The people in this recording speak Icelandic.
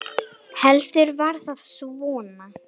Heldur var það svona!